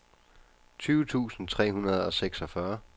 tyve tusind tre hundrede og seksogfyrre